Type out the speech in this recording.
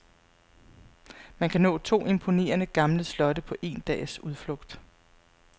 Man kan nå to imponerende, gamle slotte på en dags udflugt.